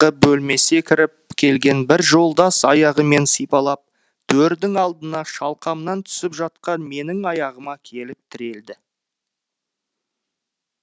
бөлмесе кіріп келген бір жолдас аяғымен сипалап төрдің алдына шалқамнан түсіп жатқан менің аяғыма келіп тірелді